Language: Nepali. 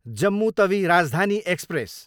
जम्मु तवी राजधानी एक्सप्रेस